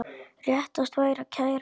Réttast væri að kæra þetta.